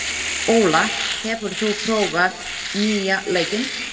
Óla, hefur þú prófað nýja leikinn?